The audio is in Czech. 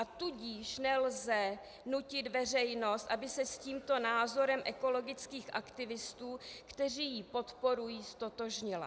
A tudíž nelze nutit veřejnost, aby se s tímto názorem ekologických aktivistů, kteří ji podporují, ztotožnila.